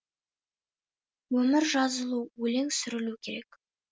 өмір жазылу өлең сүрілу керек